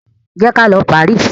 Ję kalọ Paris!